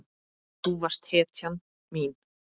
Þú varst hetjan mín.